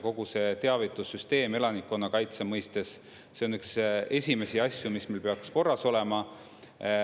Kogu see teavitussüsteem elanikkonnakaitse mõistes, see on üks esimesi asju, mis meil peaks korras olema.